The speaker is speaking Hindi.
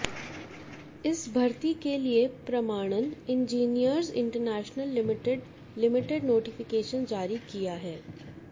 इस भर्ती के लिए प्रमाणन engineers international limited limited notification जारी किया है